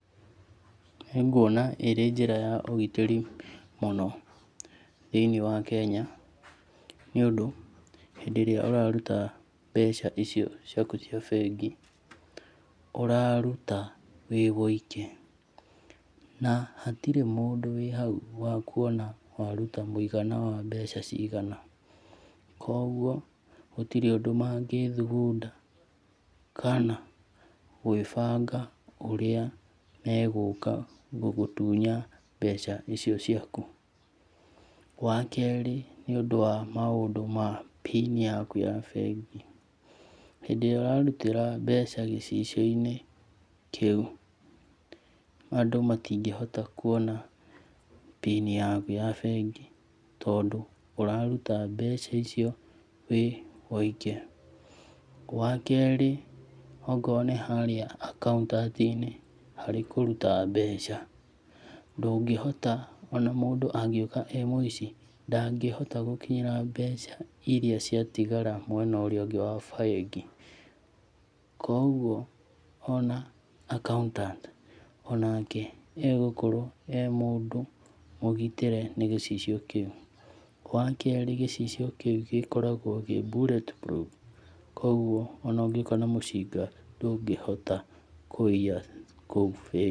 Nĩ nguona ĩrĩ njĩra ya ũgitĩrĩ mũno thĩiniĩ wa Kenya, nĩũndũ hĩndĩ ĩrĩa ũraruta mbeca icio ciaku cia bengi ũraruta wĩ woike. Na hatirĩ mũndũ wĩhau wakuona waruta mũigana wa mbeca cigana. Koguo gũtirĩ ũndũ mangĩthugunda kana gwĩbanga ũrĩa megũka gũgũtunya mbeca icio ciaku. Wakerĩ, nĩ ũndũ wa maũndũ ma pin yaku ya bengi, hĩndĩ ĩrĩa ũrarutĩra mbeca gĩcicio-inĩ kĩu andũ matingĩhota kuona pin yaku ya bengi, tondũ ũraruta mbeca icio wĩ woike. Wakerĩ, angorwo nĩ harĩ[accountant i-nĩ harĩ kũruta mbeca ndũngĩhota, ona mũndũ angĩũka e mũici ndangĩhota gũkinyĩra mbeca iria cia tigagara mwena ũrĩa ũngĩ wa bengi. Koguo ona accountant onake egũkorwo e mũndũ mũgitĩre nĩ gĩcicio kĩũ. Wakerĩ, gĩcicio kĩu gĩkoragwo kĩ bulletproof, koguo ona ũngũka na mũcinga ndũngĩhota kũiya kũu bengi.